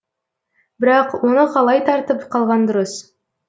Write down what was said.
бірақ оны қалай тартып қалған дұрыс